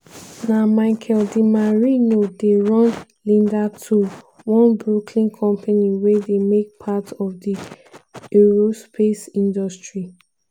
na michael dimarino dey run linda tool one brooklyn company wey dey make parts for di aerospace industry.